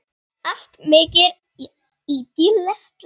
Allt mýkt í dálitla stund.